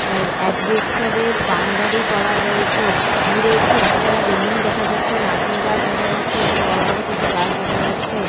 আর আসবেস্টারের বাউন্ডারি করা রয়েছে। দূরে একটি একতলা বিল্ডিং দেখা যাচ্ছে। নারকেল গাছ দেখা যাচ্ছে এবং বড় বড় কিছু গাছ দেখা যাচ্ছে।